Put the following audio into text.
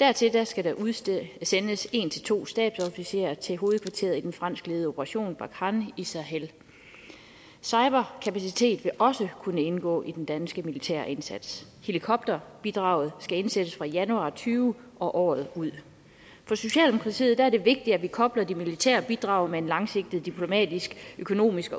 dertil skal der udsendes en to stabsofficerer til hovedkvarteret i den franskledede operation barkhane i sahel cyberkapacitet vil også kunne indgå i den danske militære indsats helikopterbidraget skal indsættes fra januar og tyve og året ud for socialdemokratiet er det vigtigt at vi kobler de militære bidrag med en langsigtet diplomatisk økonomisk og